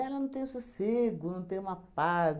Ela não tem sossego, não tem uma paz.